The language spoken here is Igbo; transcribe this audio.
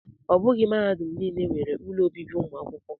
Ọ bụghị mahadum niile nwere ụlọ obibi ụmụ akwụkwọ